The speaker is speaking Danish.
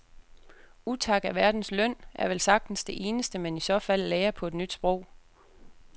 Utak er verdens løn er vel sagtens det eneste man i så fald lærer på et nyt sprog.